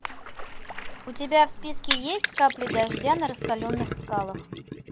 у тебя в списке есть капли дождя на раскаленных скалах